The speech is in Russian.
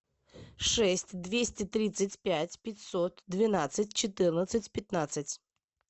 шесть двести тридцать пять пятьсот двенадцать четырнадцать пятнадцать